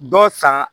Dɔ san